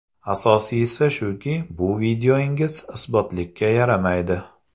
Asosiysi shuki, bu videongiz isbotlikka yaramaydi.